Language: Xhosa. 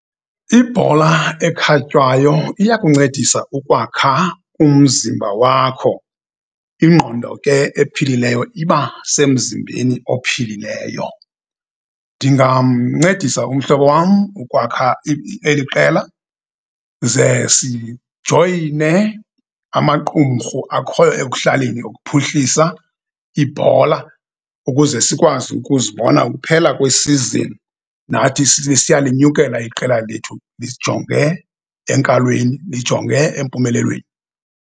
Ibhola ekhatywayo iyakuncedisa ukwakha umzimba wakho. Ingqondo ke ephilileyo iba semzimbeni ophilileyo. Ndingamncedisa umhlobo wam ukwakha eli qela ze sijoyine amaqumrhu akhoyo ekuhlaleni ukuphuhlisa ibhola ukuze sikwazi ukuzibona kuphela kwesizini nathi lisiya linyukela iqela lethu lijonge enkalweni, lijonge empumelelweni.